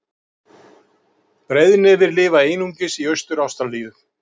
Breiðnefir lifa einungis í Austur-Ástralíu.